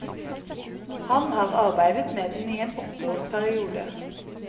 Han har arbeidet med den i en åtteårs periode.